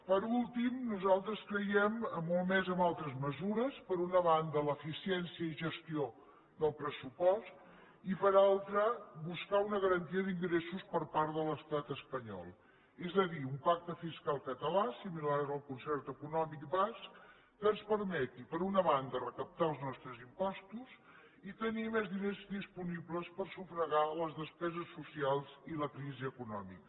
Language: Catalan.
per últim nosaltres creiem molt més en altres mesures per una banda l’eficiència i gestió del pressupost i per altra buscar una garantia d’ingressos per part de l’estat espanyol és a dir un pacte fiscal català similar al concert econòmic basc que ens permeti per una banda recaptar els nostres impostos i tenir més diners disponibles per sufragar les despeses socials i la crisi econòmica